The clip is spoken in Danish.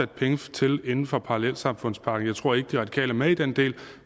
penge til inden for parallelsamfundspakken jeg tror ikke de radikale er med i den del